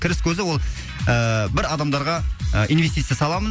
кіріс көзі ол ыыы бір адамдарға инвестиция саламын